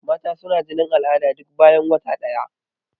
Mata suna jinin al'ada duk bayan wata ɗaya.